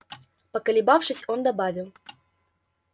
поколебавшись он добавил